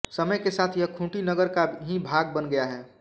समय के साथ यह खूंटी नगर का ही भाग बन गया है